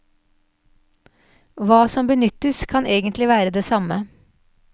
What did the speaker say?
Hva som benyttes, kan egentlig være det samme.